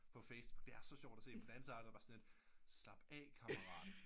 På facebook det er så sjovt at se på den anden side er jeg bare sådan lidt slap af kammarat